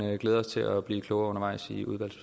glæder os til at blive klogere undervejs